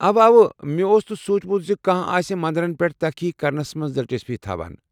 اوہ واہ، مےٚ اوس نہٕ سوٗنٛچمت ز کانٛہہ آسہ مندرن پٮ۪ٹھ تحقیق کرنس منٛز دلچسپی تھاوان۔